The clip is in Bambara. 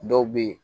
Dɔw bɛ yen